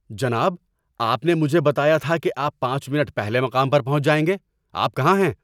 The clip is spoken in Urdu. جناب، آپ نے مجھے بتایا تھا کہ آپ پانچ منٹ پہلے مقام پر پہنچ جائیں گے۔ آپ کہاں ہیں؟